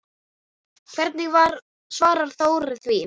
Hvernig svarar Þórir því?